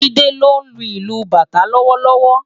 Jide ló nlú ilù bátã lòwòlòwò